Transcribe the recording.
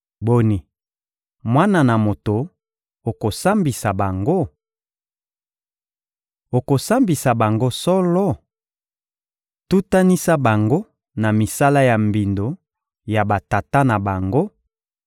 Boni, mwana na moto, okosambisa bango? Okosambisa bango solo? Tutanisa bango na misala ya mbindo ya batata na bango